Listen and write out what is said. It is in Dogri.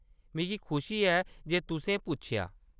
मिगी खुशी ऐ जे तुसें पुच्छेआ।